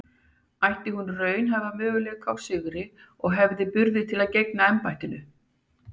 Ætti hún raunhæfa möguleika á sigri og hefði hún burði til að gegna embættinu?